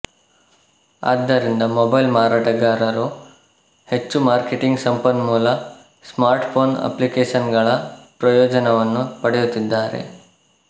ಆದ್ದರಿಂದ ಮೊಬೈಲ್ ಮಾರಾಟಗಾರರು ಹೆಚ್ಚು ಮಾರ್ಕೆಟಿಂಗ್ ಸಂಪನ್ಮೂಲ ಸ್ಮಾರ್ಟ್ಫೋನ್ ಅಪ್ಲಿಕೇಶನ್ಗಳ ಪ್ರಯೋಜನವನ್ನು ಪಡೆಯುತ್ತಿದ್ದಾರೆ